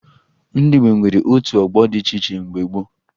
Ndị Igbo nwere otu ọgbọ dị iche iche mgbe gboo